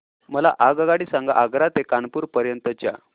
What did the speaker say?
मला आगगाडी सांगा आग्रा ते कानपुर पर्यंत च्या